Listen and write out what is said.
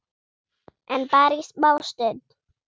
En bara í smá stund.